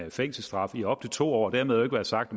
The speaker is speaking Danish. fængselsstraf i op til to år dermed ikke være sagt